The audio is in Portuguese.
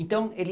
Então ele